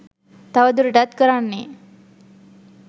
තව දුරටත් කරන්නේ